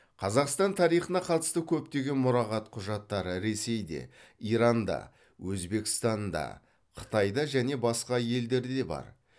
қазақстан тарихына қатысты көптеген мұрағат құжаттары ресейде иранда өзбекстанда қытайда және басқа елдерде бар